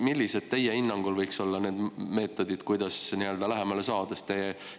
Millised teie hinnangul võiks olla need meetodid, kuidas lähemale saada?